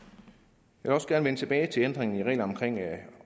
jeg vil også gerne vende tilbage til ændringen i reglerne